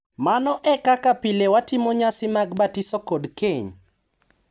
Mano e kaka pile watimo nyasi mag batiso kod keny...